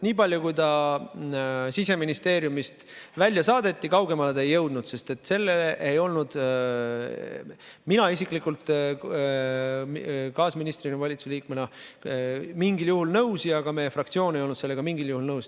Nii palju kui ta Siseministeeriumist välja saadeti, kaugemale ta ei jõudnud, sest mina isiklikult kaasministrina, valitsusliikmena ei olnud sellega mingil juhul nõus ja ka meie fraktsioon ei olnud sellega mingil juhul nõus.